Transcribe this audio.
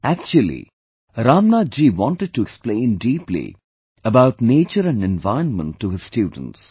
Actually, Ramnath ji wanted to explain deeply about nature and environment to his students